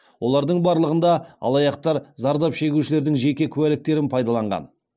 олардың барлығында алаяқтар зардап шегушілердің жеке куәліктерін пайдаланған